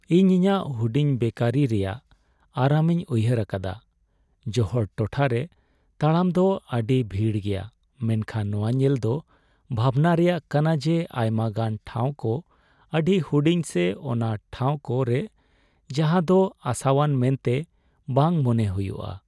ᱤᱧ ᱤᱧᱟᱹᱜ ᱦᱩᱰᱤᱧ ᱵᱮᱠᱟᱨᱤ ᱨᱮᱭᱟᱜ ᱟᱨᱟᱢᱤᱧ ᱩᱭᱦᱟᱹᱨ ᱟᱠᱟᱫᱟ, ᱡᱚᱦᱚᱲ ᱴᱚᱴᱷᱟᱨᱮ ᱛᱟᱲᱟᱢ ᱫᱚ ᱟᱹᱰᱤ ᱵᱷᱤᱲ ᱜᱮᱭᱟ, ᱢᱮᱱᱠᱷᱟᱱ ᱱᱚᱶᱟ ᱧᱮᱞ ᱫᱚ ᱵᱷᱟᱵᱷᱱᱟ ᱨᱮᱭᱟᱜ ᱠᱟᱱᱟ ᱡᱮ ᱟᱭᱢᱟᱜᱟᱱ ᱴᱷᱟᱶ ᱠᱚ ᱟᱹᱰᱤ ᱦᱩᱰᱤᱧ ᱥᱮ ᱚᱱᱟ ᱴᱷᱟᱶᱠᱚ ᱨᱮ ᱡᱟᱦᱟᱸ ᱫᱚ ᱟᱥᱟᱣᱟᱱ ᱢᱮᱱᱛᱮ ᱵᱟᱝ ᱢᱚᱱᱮ ᱦᱩᱭᱩᱜᱼᱟ ᱾